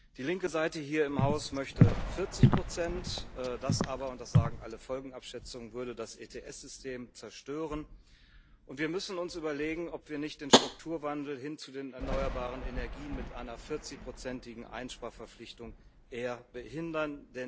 Die linke Seite hier im Haus möchte 40 das aber und das sagen alle Folgenabschätzungen würde das ETS System zerstören, und wir müssen uns überlegen, ob wir nicht den Strukturwandel hin zu den erneuerbaren Energien mit einer 40igen Einsparverpflichtung eher behindern.